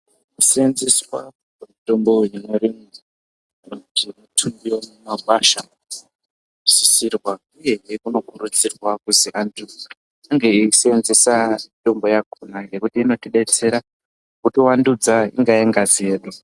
Kuseenzeswa kwemutombo inotorwe mumakwasha kunosisirwa uyehe unokurudzirwa kuzi antu ange eiseenzesa mitombo yakona ngekuti i otidetsera kutivandudza, ingave ngazi yedu.